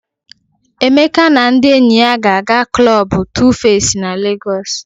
Emeka na ndị enyi ya ga-aga klọb Tufesi na Legọs.